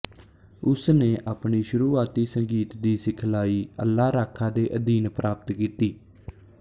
ਉਸ ਨੇ ਆਪਣੀ ਸ਼ੁਰੂਆਤੀ ਸੰਗੀਤ ਦੀ ਸਿਖਲਾਈ ਅੱਲਾ ਰਾਖਾ ਦੇ ਅਧੀਨ ਪ੍ਰਾਪਤ ਕੀਤੀ